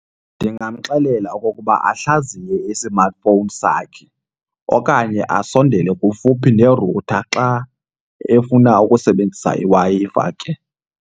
Ndingamxelela okokuba ahlaziye isimatifowuni sakhe okanye asondele kufuphi nerutha xa efuna ukusebenzisa iWi-Fi ke.